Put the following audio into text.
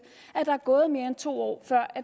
at der er gået mere end to år før